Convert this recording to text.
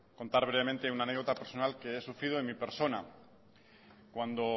contar brevemente una anécdota personal que he sufrido en mi persona cuando